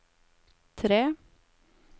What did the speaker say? tre